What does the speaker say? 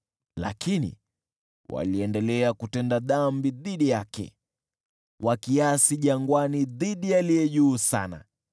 Lakini waliendelea kutenda dhambi dhidi yake, wakiasi jangwani dhidi ya Aliye Juu Sana.